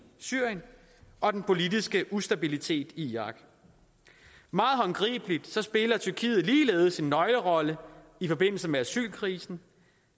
syrien og den politiske ustabilitet i irak meget håndgribeligt spiller tyrkiet ligeledes en nøglerolle i forbindelse med asylkrisen